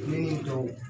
Ne ni tɔw